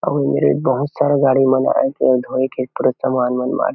अऊ एदे बहुत सारा गाड़ी मन आए हे धोए के पूरा समान मन माड़हे--